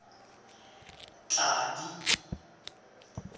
tladi